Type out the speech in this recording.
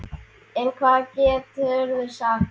En hvað geturðu sagt?